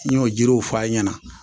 N y'o jiriw f'a ɲɛna